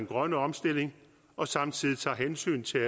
grønne omstilling og samtidig tager hensyn til